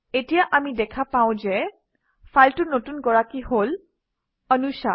এতিয়া আমি দেখা পাওঁ যে ফাইলটোৰ নতুন গৰাকী হল anusha